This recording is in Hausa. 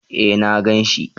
Eh na ganshi